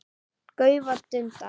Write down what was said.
gaufa, dunda.